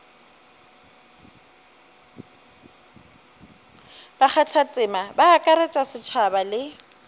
bakgathatema ba akaretša setšhaba le